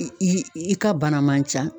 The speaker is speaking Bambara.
I i i ka bana man can